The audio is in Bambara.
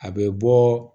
A bɛ bɔ